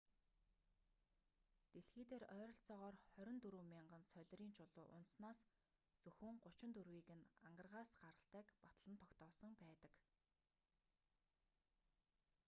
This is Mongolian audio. дэлхий дээр ойролцоогоор 24,000 солирын чулуу унаснаас зөвхөн 34-ийг нь ангаргаас гаралтайг батлан тогтоосон байдаг